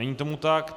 Není tomu tak.